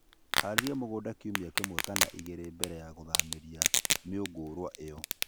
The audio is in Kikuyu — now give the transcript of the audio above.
harĩrĩa mũgũnda kĩũmĩa kĩmwe kana ĩgĩrĩ mbele ya gũthamĩrĩa mĩũngũrwa ĩyo